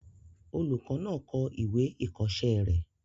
Olùkọ́ náà kọ ìwé ìkọ̀ọ́sẹ́ rẹ̀